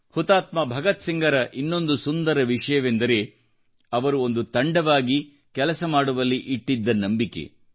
ಹುತಾತ್ಮ ಭಗತ್ಸಿಂಗ್ರ ಇನ್ನೊಂದು ಸುಂದರ ವಿಷಯವೆಂದರೆ ಒಂದು ತಂಡವಾಗಿ ಕೆಲಸ ಮಾಡುವಲ್ಲಿ ಅವರು ಇಟ್ಟಿರುವ ನಂಬಿಕೆ